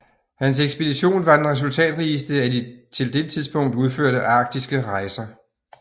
Hans ekspedition var den resultatrigeste af de til dette tidspunkt udførte arktiske rejser